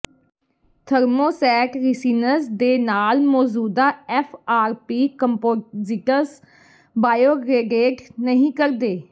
thermoset resins ਦੇ ਨਾਲ ਮੌਜੂਦਾ F R P composites biodegrade ਨਹੀਂ ਕਰਦੇ